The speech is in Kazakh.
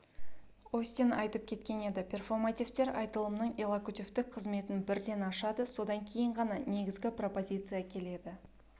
остин айтып кеткен еді перфомативтер айтылымның иллокутивтік қызметін бірден ашады содан кейін ғана негізгі пропозиция келеді